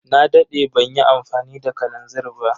Na dade banyi amfani da kalanzir ba.